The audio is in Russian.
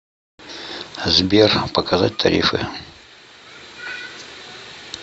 сбер показать тарифы